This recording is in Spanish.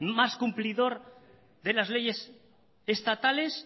más cumplidor de las leyes estatales